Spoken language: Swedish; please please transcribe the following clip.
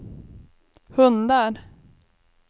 hundar